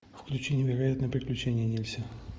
включи невероятные приключения нильса